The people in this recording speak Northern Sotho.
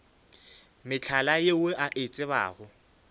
mehlala yeo a e tsebago